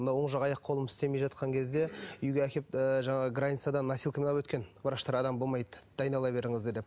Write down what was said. мына оң жақ аяқ қолым істемей жатқан кезде үйге әкеліп ыыы жаңағы границадан носилкамен алып өткен врачтар адам болмайды дайындала беріңіздер деп